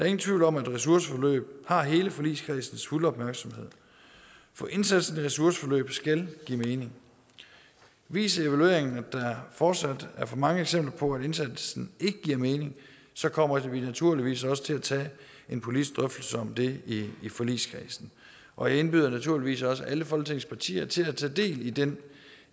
ingen tvivl om at ressourceforløb har hele forligskredsens fulde opmærksomhed for indsatsen af ressourceforløb skal give mening viser evalueringen at der fortsat er for mange eksempler på at indsatsen ikke giver mening så kommer vi naturligvis også til at tage en politisk drøftelse om det i forligskredsen og jeg indbyder naturligvis også alle folketingets partier til at tage del i den